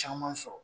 Caman sɔrɔ